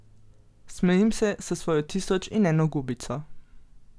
Smejim se s svojo tisoč in eno gubico.